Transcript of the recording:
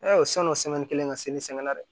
o sann'o kelen ka se la dɛ